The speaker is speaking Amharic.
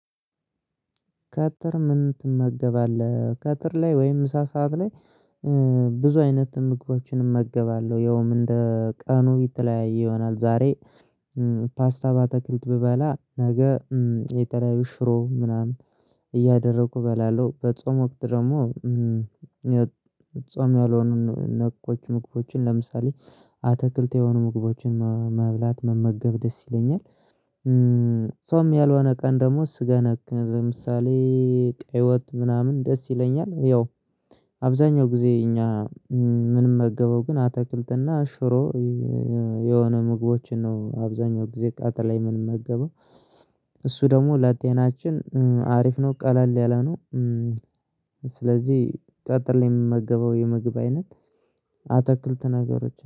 ቀትር ምን ትመገባለህ ቀትር ላይ ወይም ምሳ ሰዓት ላይ? ብዙ አይነት ምግቦችን እመገባለሁ ያው እንደ ቀኑ የተለያየ ይሆናል። ዛሬ ፓስታ ባተክልት ብበላ ነገ የተለያዩ ሽሮ ምናምን እያደረኩ እበላለሁ። በጾም ወቅት ደግሞ ጾም ያልሆኑን ነኮች ምግቦችን ለምሳሌ አትክልት የሆኑ ምግቦችን መብላት መመገብ ደስ ይለኛል። ጾም ያልሆነ ቀን ደሞ ስጋ ነክ ለምሳሌ ቀይ ወጥ ምናምን ደስ ይለኛል። ያው አብዛኛው ጊዜ እኛ ምንመገበው ግን አትክልትና አሽሮ። የሆነ ምግቦችን ነው አብዛኛው ጊዜ ቃጥ ላይ ምንመገበው እሱ ደግሞ ለጤናችን አሪፍ ነው ቀለል ያለ ነው። ስለዚህ ቀትር ላይ የምመገበው የምግብ አይነት አትክልት ነገሮች